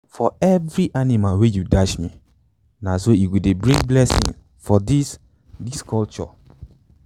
for every animal wey you dash na so e go dey bring blessing for this this culture.